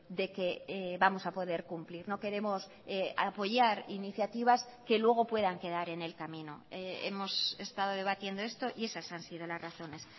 de que vamos a poder cumplir no queremos apoyar iniciativas que luego puedan quedar en el camino hemos estado debatiendo esto y esas han sido las razones